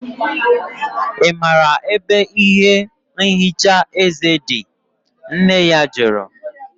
I maara ebe ihe nhicha eze dị? Nne ya jụrụ